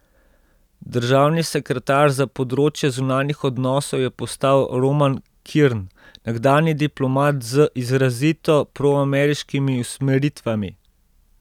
Državni sekretar za področje zunanjih odnosov je postal Roman Kirn, nekdanji diplomat z izrazito proameriškimi usmeritvami.